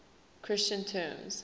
christian terms